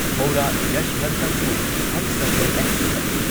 Howrah Yesvantpur Humsafar express